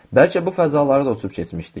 Bəlkə bu fəzaları da uçub keçmişdik.